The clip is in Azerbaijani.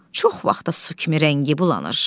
Çox vaxtı su kimi rəngi bulanır.